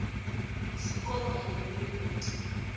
isikolo kanye neripoti